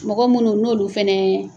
Mɔgɔ minnu n'o de fana ye.